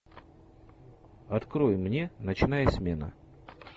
открой мне ночная смена